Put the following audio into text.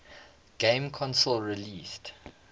game console released